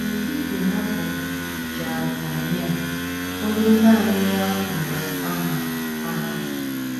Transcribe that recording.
N’etiti ha bụ Jaazaniah, onye naanị ya kpọrọ aha. aha.